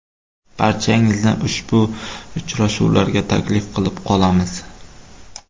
Barchangizni ushbu uchrashuvlarga taklif qilib qolamiz.